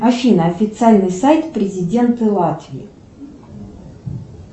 афина официальный сайт президента латвии